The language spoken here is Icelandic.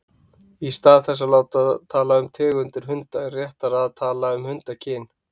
Í stað þess að tala um tegundir hunda er því réttara að tala um hundakyn.